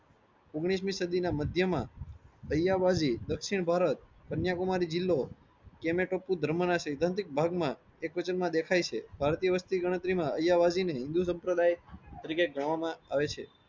ઓગણીસ મી સદી ના મધ્ય માં દક્ષીણ ભારત કન્યાકુમારી જિલ્લો ધર્મ ના સિદ્ધાંતિક ભાગ માં દેખાય છે. ભારતીય વસ્તી ગણતરીમાં ને હિન્દૂ સંપ્રદાય તરીકે ગણવામાં આવે છે.